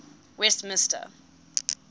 westmister